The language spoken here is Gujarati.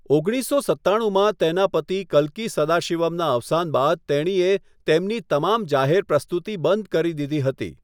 ઓગણીસો સત્તાણુંમાં તેના પતિ કલ્કી સદાશિવમના અવસાન બાદ તેણીએ તેમની તમામ જાહેર પ્રસ્તુતિ બંધ કરી દીધી હતી.